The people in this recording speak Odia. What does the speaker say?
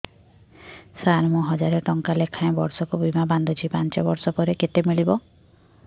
ସାର ମୁଁ ହଜାରେ ଟଂକା ଲେଖାଏଁ ବର୍ଷକୁ ବୀମା ବାଂଧୁଛି ପାଞ୍ଚ ବର୍ଷ ପରେ କେତେ ମିଳିବ